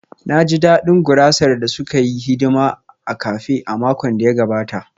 Na ji daɗin gurasar da suka yi hidima a cafe a makon da ya gabata